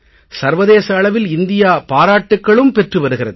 சர்வதேச அளவில் இந்தியா பாராட்டுக்களும் பெற்று வருகிறது